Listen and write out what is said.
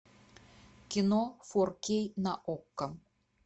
кино форкей на окко